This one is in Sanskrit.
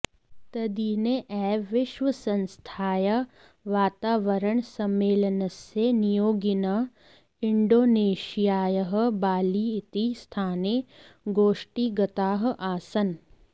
तद्दिने एव विश्वसंस्थायाः वातावरणसम्मेलनस्य नियोगिनः इण्डोनेषियायः बालि इति स्थाने गोष्टिगताः आसन्